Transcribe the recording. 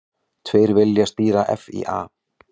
Tveir vilja stýra FÍA